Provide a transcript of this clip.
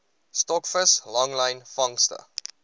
stokvis langlyn vangste